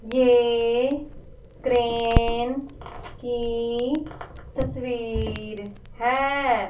ये क्रेन की तस्वीर है।